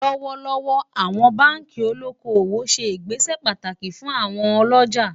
lówó lówó, àwọn bánkì olókó owó ṣé ìgbésẹ pàtàkì fún àwon olójà